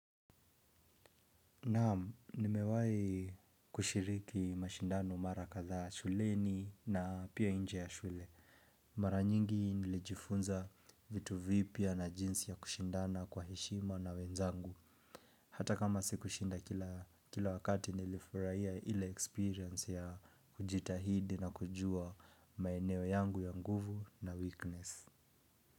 Naam, nimewai kushiriki mashindano mara katha shuleni na pia inje ya shule. Mara nyingi nilijifunza vitu vipya na jinsi ya kushindana kwa hishima na wenzangu. Hata kama sikushinda kila wakati nilifuraiya ile experience ya kujitahidi na kujua maeneo yangu ya nguvu na weakness.